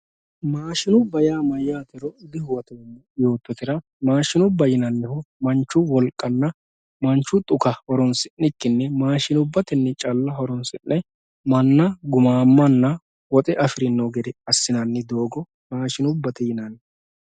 maashinubba yaa mayyatero dihuwatoommo yoottotera mannu wolqanna manchu xuka horonsi'nikkinni maashinubbatenni calla horonsi'ne manna gumaamanna woxe afiranno gede assa maashinubbate yinanni.